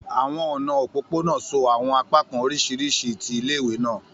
Àwọn ọna opopona so àwọn apakan oriṣiriṣi ti ile ile-iwe naa.